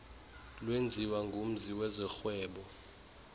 lenziwa ngumzi wezorhwebo